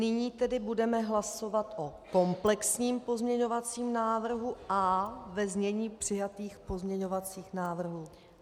Nyní tedy budeme hlasovat o komplexním pozměňovacím návrhu a ve znění přijatých pozměňovacích návrhů.